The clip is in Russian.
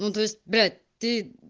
ну то есть блять ты